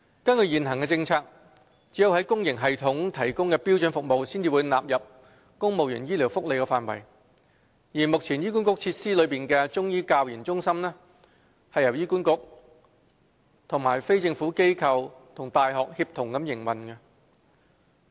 根據現行政策，只有公營系統提供的標準服務才會納入公務員醫療福利範圍，而目前在醫管局設施內的中醫教研中心是由醫管局、非政府機構及大學協同營運。